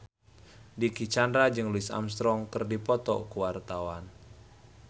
Dicky Chandra jeung Louis Armstrong keur dipoto ku wartawan